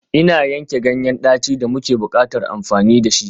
Ina yanke ganyen daci da muke buƙatar amfani da shi.